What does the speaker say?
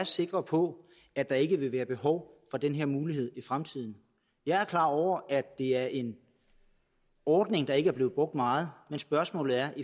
sikre på at der ikke vil være behov for den her mulighed i fremtiden jeg er klar over at det er en ordning der ikke er blevet brugt meget men spørgsmålet er